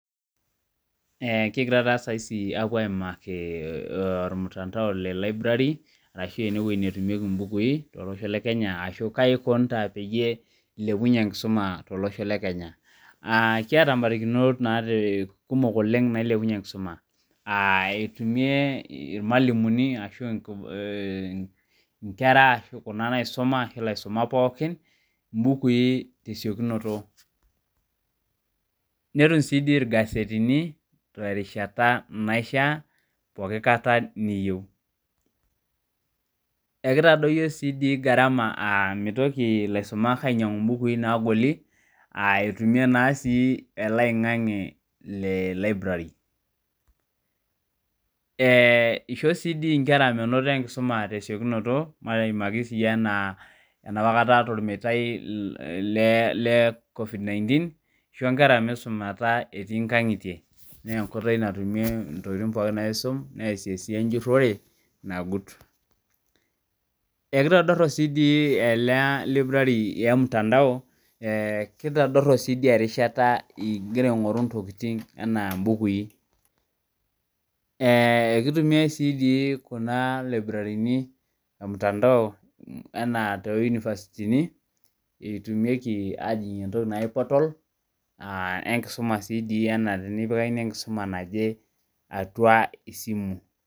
Ee kigira saisi apuo aimaki ormytandao le library ashu ewoi natumieki mbukui aahu kaikunita peyiw ilepunye enkisuma tolosho le Kenya kiata barikinot kumok nikilepunye enkisuma aa etumie irmalimulini ashu nkera ashu kuna naisuma mbukui tesiokinoto netum si ingasetini terishata naishaa enkata niyieu ekitadoyio garama amu mitoki laisumak ainyangu mbukui nagoli aitunye naa elo oingangi le library isho si nkera mwnoto enkisuma tesiokinoto enaapa kata tormetai le covid nineteen isho nkera misumata etii nkangitie na enkoitoi natumie ntokitin pooki enjurore nagutekitodop si ele erishata ingira aingoru ntokitin anaa mbukui kitumiai si kuna laibrari ormutandao anaa tounifasitini etumieki aningie entoki naji portal ashu tenikipikakini enkisuma atua esimu.